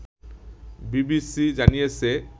BBC জানিয়েছে